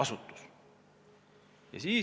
Selle ingliskeelne lühend on EIOPA.